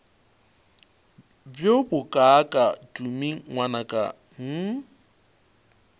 bjo bokaaka tumi ngwanaka hm